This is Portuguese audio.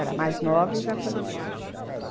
Era mais nova e já faleceu.